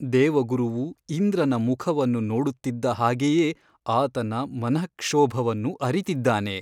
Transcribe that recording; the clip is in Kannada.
ದೇವಗುರುವು ಇಂದ್ರನ ಮುಖವನ್ನು ನೊಡುತ್ತಿದ್ದ ಹಾಗೆಯೇ ಆತನ ಮನಃಕ್ಷೋಭವನ್ನು ಅರಿತಿದ್ದಾನೆ.